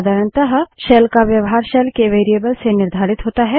साधारणतः शेल का व्यवहार शेल के वेरिएबल्स से निर्धारित होता है